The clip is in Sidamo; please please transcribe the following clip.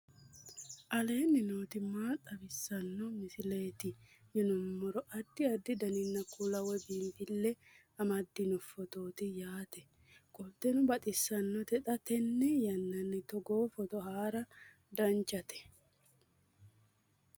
aleenni nooti maa xawisanno misileeti yinummoro addi addi dananna kuula woy biinsille amaddino footooti yaate qoltenno baxissannote xa tenne yannanni togoo footo haara danvchate